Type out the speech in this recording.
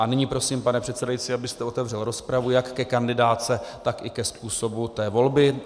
A nyní prosím, pane předsedající, abyste otevřel rozpravu jak ke kandidátce, tak i ke způsobu té volby.